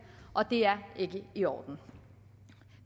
og det er ikke i orden